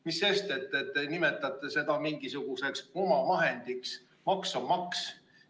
Mis sest, et te nimetate seda mingisuguseks omavahendiks, maks on maks.